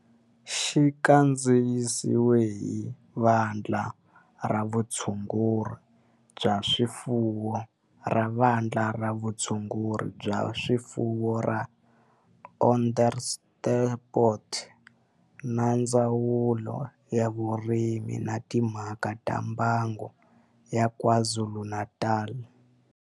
Xi kandziyisiwe hi Vandla ra Vutshunguri bya swifuwo ra Vandla ra Vutshunguri bya swifuwo ra Onderstepoort na Ndzawulo ya Vurimi na Timhaka ta Mbango ya KwaZulu-Natal.